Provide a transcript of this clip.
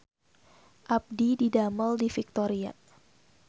Abdi didamel di Victoria